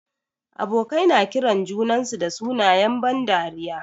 Abokai na kiran junansu da sunayen ban dariya.